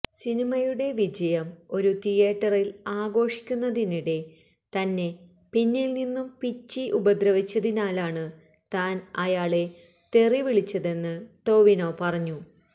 സിനിമയുടെ വിജയം ഒരു തിയേറ്ററില് ആഘോഷിക്കുന്നതിനിടെ തന്നെ പിന്നില് നിന്നും പിച്ചി ഉപദ്രവിച്ചതിനാലാണ് താന് ആയാളെ തെറിവിളിച്ചതെന്ന് ടോവിനോ പറഞ്ഞു